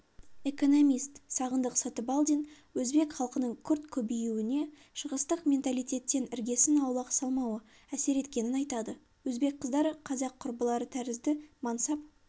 экономист сағындық сатыбалдин өзбек халқының күрт көбеюіне шығыстық менталитеттен іргесін аулақ салмауы әсер еткенін айтады өзбек қыздары қазақ құрбылары тәрізді мансап